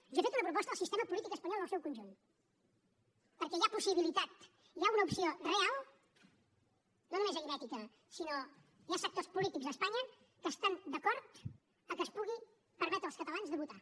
jo he fet una proposta al sistema polític espanyol en el seu conjunt perquè hi ha possibilitat hi ha una opció real no només aritmètica sinó que hi ha sectors polítics a espanya que estan d’acord que es pugui permetre als catalans de votar